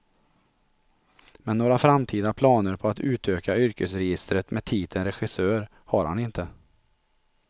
Men några framtida planer på att utöka yrkesregistret med titeln regissör, har han inte.